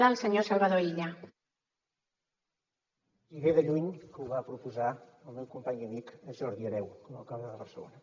i ve de lluny que ho va proposar el meu company i amic jordi hereu com a alcalde de barcelona